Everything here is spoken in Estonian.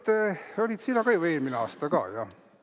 Kas olid sina ju eelmine aasta ka?